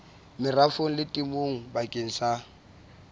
merafong le temong bakeng sa